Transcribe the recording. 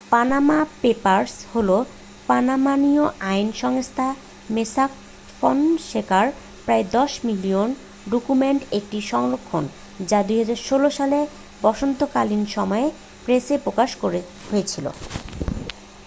"""Panama papers" হলো Panamanian আইন সংস্থা মোস্যাক ফনসেকার প্রায় দশ মিলিয়ন ডকুমেন্টের একটি সংরক্ষণ যা 2016 সালে বসন্তকালীন সময়ে প্রেসে প্রকাশ হয়েছিল।